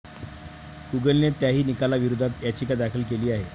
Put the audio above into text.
गुगलने त्याही निकालाविरोधात याचिका दाखल केली आहे.